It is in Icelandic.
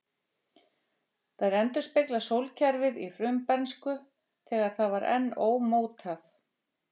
Þær endurspegla sólkerfið í frumbernsku, þegar það var enn ómótað.